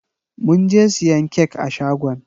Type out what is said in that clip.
Mun je siyan kek a shagon.